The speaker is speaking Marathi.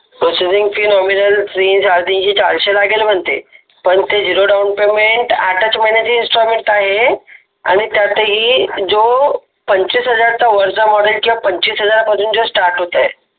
प्रोसेसिंग फी नॉमिनल तीन चारशे लागेल म्हणते पण ते झिरो डाउन पेमेंट आठच महिन्याचे इंस्टॉलमेंट आहे आणि त्यातही जो पंचवीस हजार चा वरचा जो वरचा मॉडेल किंवा जो पंचवीस हजार पासून जो स्टार्ट होतंय